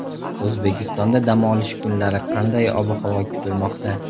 O‘zbekistonda dam olish kunlari qanday ob-havo kutilmoqda?.